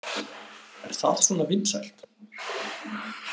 Er það svona vinsælt?